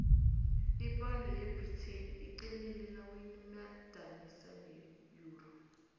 iponde yebritain iqinile nawuyimadanisa neyuro